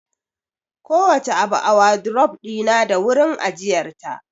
Kowace abu a wadurof ɗina da wurin ajiyar ta